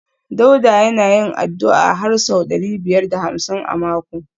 Dauda yana yin addu’a har sau ɗari biyar da hamsin a mako